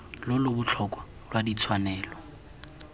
lo lo botlhokwa lwa ditshwanelo